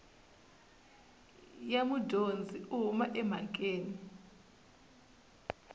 ya mudyondzi u huma emhakeni